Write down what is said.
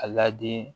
A ladi